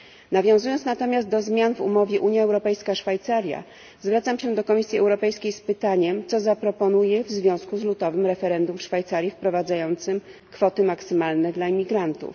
Nawiązując natomiast do zmian w umowie Unia Europejska Szwajcaria, zwracam się do Komisji Europejskiej z pytaniem, co zaproponuje w związku z lutowym referendum w Szwajcarii wprowadzającym kwoty maksymalne dla imigrantów?